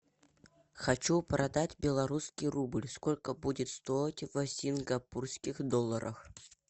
хочу продать белорусский рубль сколько будет стоить в сингапурских долларах